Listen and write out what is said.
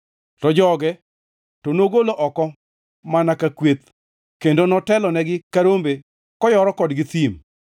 To joge to nogolo oko mana ka kweth, kendo notelonegi ka rombe koyoro kodgi thim.